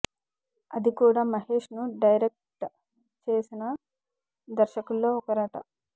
అది కూడా మహేష్ ను డైరెక్ట్ చేసిన దర్శకుల్లో ఒకరట